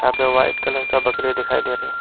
White colour का बकरी दिखाई दे रहे है।